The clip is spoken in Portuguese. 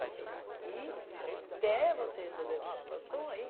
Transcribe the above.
Vai ficar aqui até você resolver a tua situação aí.